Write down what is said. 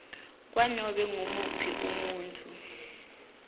kwanobe ngumuphi umuntfu